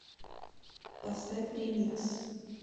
поставь ремикс